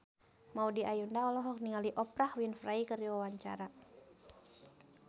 Maudy Ayunda olohok ningali Oprah Winfrey keur diwawancara